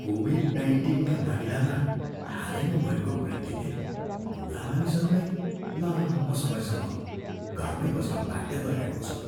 Covid नाइन्टिनका मामिलामा हालैमा भएको वृद्धिले बुढा मानिसहरूलाई लामो समयसम्म घरमै बस्न बाध्य गराएको छ।